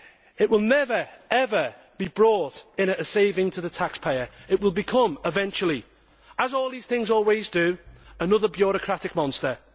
It will never, ever, be brought in at a saving to the taxpayer. It will become eventually, as all these things always do, another bureaucratic monster.